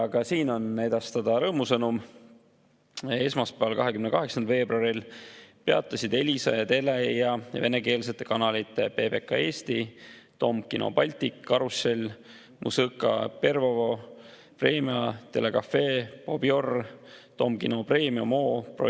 Ka siin on edastada rõõmusõnum: esmaspäeval, 28. veebruaril peatasid Elisa ja Telia venekeelsete kanalite PBK Eesti, Dom Kino Baltic, Karussel, Muzõka Pervogo, Vremja, Telekafe, Bober, Dom Kino Premium, Premium HD, О!